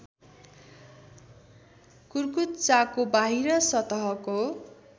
कुर्कुच्चाको बाहिर सतहको